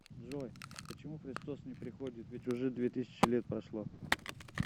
джой почему христос не приходит ведь уже две тысячи лет прошло